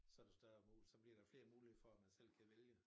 Så det større så bliver der flere muligheder for at man selv kan vælge